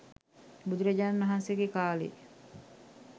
බුදුරජාණන් වහන්සේ ගේ කාලෙ